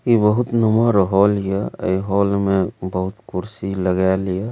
ई बहुत नम्हर हॉल या ए हॉल में बहुत कुर्सी लगाल या |